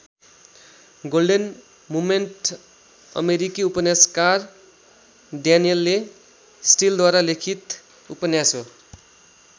Golden moment अमेरिकी उपन्यासकार Danielle स्टिलद्वारा लिखित उपन्यास हो।